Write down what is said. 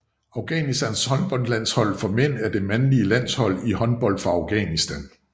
Afghanistans håndboldlandshold for mænd er det mandlige landshold i håndbold for Afghanistan